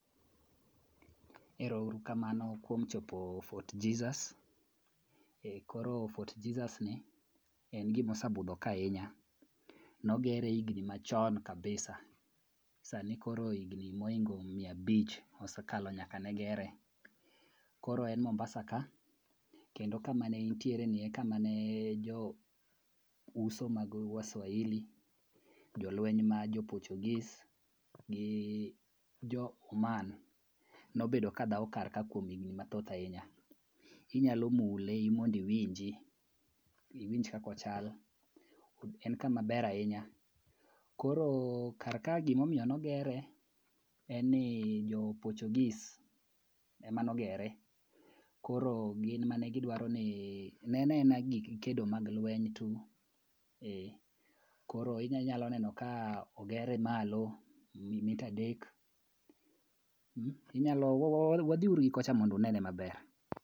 Ero uru kamano kuom chopo Fort Jesus, koro Fort Jesusni en gima osebudho ka ahinya. Nogere higni machon kabisa, sani koro higni mokalo miya abich osekalo nyaka ne gere. Koro en Mombasaka, kendo kama ne intiereni e kama ne jo uso mag waswahili, jolwenya ma jo Portuguese gi jo Uman nobedo kadhawo karka kuom higni mathoth ahinya. Inyalo mule mondo iwinji, iwinj kaka ochalo. En kamaber ahinya. Koro kar kae, gimomiyo nogere en ni jo portuguese ema nogere, koro gin ema ne gidwaroni, ne en aena gik kedo mag lweny tu. Koro inyalo neno ka ogere malo mita adek, wadhi uru gi kocha mondo unene maber.